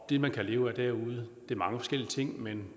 det man kan leve af derude er mange forskellige ting men